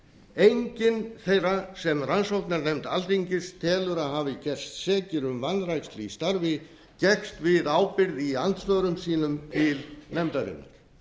enginn þeirra sem rannsóknarnefnd alþingis tekur að hafi gerst sekir um vanrækslu í starfi gekkst við ábyrgð í andsvörum sínum til nefndarinnar